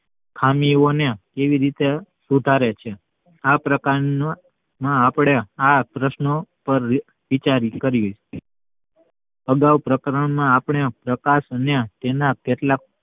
ખામી ઓ ને કેવી રીતે સુધારે છે આ પ્રકાર માં આપડે આ પ્રશ્નો પર વિચાર કરીયે અગાઉ પ્રકરણ માં આપડે પ્રકાશ ને તેના કેટલાક